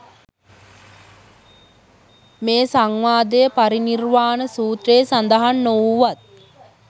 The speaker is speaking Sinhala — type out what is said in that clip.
මේ සංවාදය පරිනිර්වාණ සූත්‍රයේ සඳහන් නොවූවත්